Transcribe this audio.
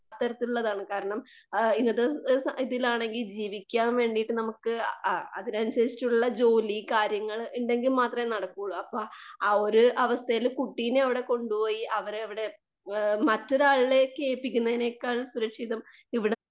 അത്തരത്തിലുള്ളതാണ് കാരണം ഇന്നത്തെ ഇതിലാണെകിൽ ജീവിക്കാൻ വേണ്ടീട്ട് നമുക്ക് അ അതിനനുസരിച്ചിട്ടുള്ള ജോലി കാര്യങ്ങള് ഉണ്ടെങ്കിൽ മാത്രേ നടക്കുവോള്ളൂ. അപ്പൊ ആ ഒരു അവസ്ഥയില് കുട്ടീനെ അവിടെ കൊണ്ടുപോയി അവരെ അവിടെ ആ മറ്റൊരാളിലേക്ക് ഏൽപിക്കുന്നതിനേക്കാൾ സുരക്ഷിതം ഇവിടെ